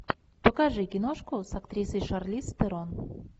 покажи киношку с актрисой шарлиз терон